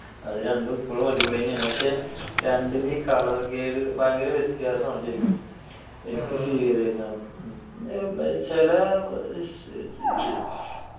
അതു രണ്ടും ഇപ്പോഴും അടിപൊളി തന്നെയാണ്. പക്ഷേ, രണ്ടിനെയും colour grade ഭയങ്കര വ്യത്യാസമാണ് ശരിക്കും. ചില